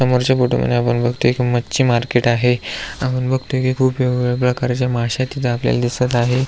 समोरच्या फोटो मधी आपण बगतोय कि मच्छी मार्केट आहे आपण बगतोय कि खुप वेगवेगळ्या प्रकारच्या मासे तिथ आपल्याला दिसत आहे.